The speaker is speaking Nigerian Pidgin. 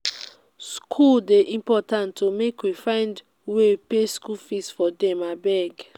skool dey important o make we find way pay skool fees for them abeg.